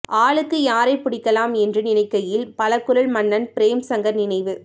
ஆளுக்கு யாரை பிடிக்கலாம் என்று நினைக்கையில் பலகுரல் மன்னன் பிரேம்சங்கர் நினைவு